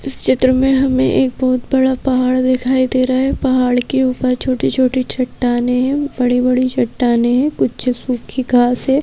इस चित्र में हमें एक बहुत बड़ा पहाड़ दिखाई दे रहा है पहाड़ के ऊपर छोटी-छोटी चट्टाने हैं बड़ी-बड़ी चट्टाने हैं कुछ सूखी घास है।